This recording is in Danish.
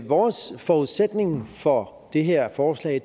vores forudsætning for det her forslag